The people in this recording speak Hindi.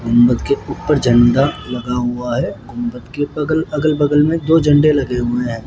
गुम्बद के ऊपर झण्डा लगा हुआ है गुंबद के बगल अगल बगल में दो झंडे लगे हुए हैं।